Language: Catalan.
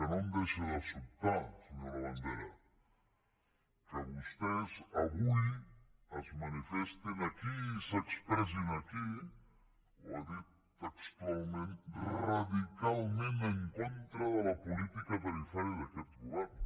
no em deixa de sobtar senyor labandera que vostès avui es manifestin aquí i s’expressin aquí ho ha dit textualment radicalment en contra de la política tarifària d’aquest govern